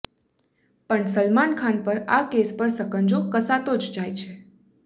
પણ સલમાન ખાન પર આ કેસ પર સકંજો કસાતો જ જાય છે